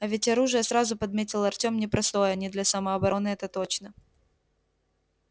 и ведь оружие сразу подметил артём непростое не для самообороны это точно